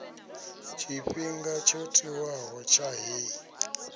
tshifhinga tsho tiwaho tsha heyi